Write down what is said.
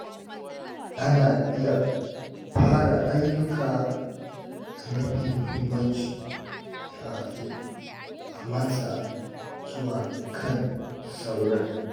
Ana iya fara ayyuka da mafi muhimmanci kafin a matsa zuwa kan sauran.